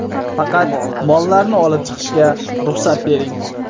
Faqat mollarimni olib chiqishga ruxsat bering.